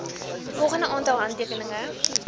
volgende aantal handtekeninge